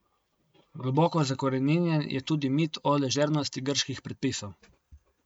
Globoko zakoreninjen je tudi mit o ležernosti grških predpisov.